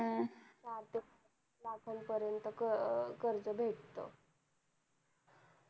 चार ते पाच लाख पर्यंत कर्ज भेटत